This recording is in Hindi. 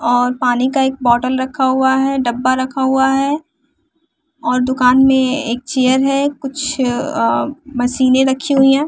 और पानी का एक बोटल रखा हुआ है डब्बा रखा हुआ है और दुकान में एक चेयर है कुछ अअ मशीनें रखी हुई हैं।